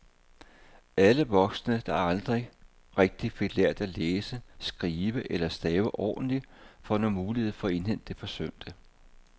Alle voksne, der aldrig rigtig fik lært at læse, skrive eller stave ordentligt, får nu mulighed for at indhente det forsømte.